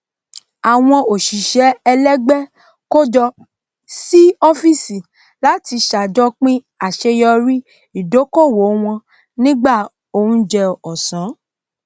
àwọn òṣìṣẹ ẹlẹgbẹ kójọ sí ọfísì láti ṣàjọpín àseyọrí ìdókòwò wọn nígbà oúnjẹ ọsán